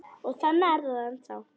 Og þannig er það ennþá.